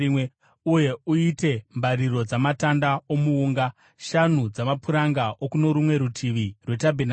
“Uyewo uite mbariro dzamatanda omuunga: shanu dzamapuranga okuno rumwe rutivi rwetabhenakeri,